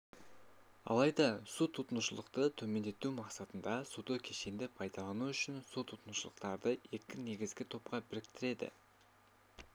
алайда су тұтынушылықты төмендету мақсатында суды кешенді пайдалану үшін су тұтынушылықтарды екі негізгі топқа біріктіреді